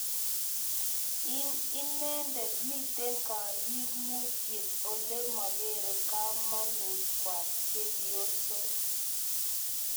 Ing' ineendet, miite kaayiimuutyet ole magere kaamanuut kwai chepyoosook